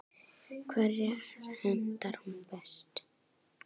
Hverjum hentar hún best?